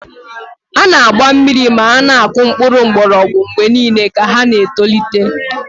A na-agba mmiri ma na-akụ mkpụrụ mgbọrọgwụ mgbe niile ka ha na-etolite.